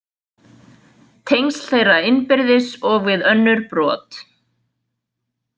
"Tengsl þeirra innbyrðis og við önnur brot ""."